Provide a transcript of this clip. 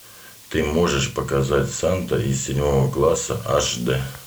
ты можешь показать санта из седьмого класса аш д